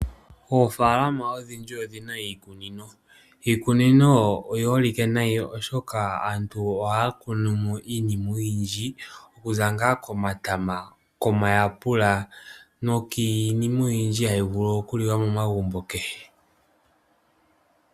Oofalama odhindji odhina iikunino. Iikunino oyi holike nayi oshoka aantu ohaya kunumo iinima oyindji, okuza nga komatama, komayapula nookiinima oyindji hayi vulu okuliwa momagumbo.